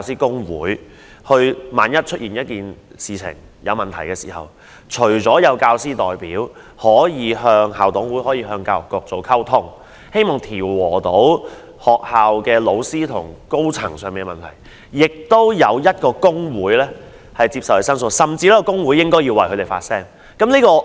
在出現問題時，除了有教師代表可跟校董會及跟教育局溝通，藉以調和老師與學校高層之間的矛盾外，亦有一個工會接受教師申訴，甚至為他們發聲。